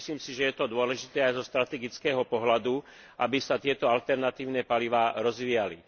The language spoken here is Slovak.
Myslím si, že je to dôležité aj zo strategického pohľadu, aby sa tieto alternatívne palivá rozvíjali.